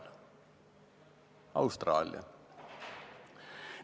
See on Austraalia!